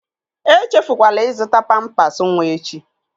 Echefukwala ịzụta pampas nwa echi!